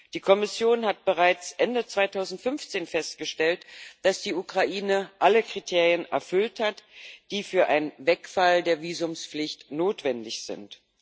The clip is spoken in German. Die Kommission hat bereits Ende 2015 festgestellt, dass die Ukraine alle Kriterien erfüllt hat, die für einen Wegfall der Visumpflicht notwendig sind.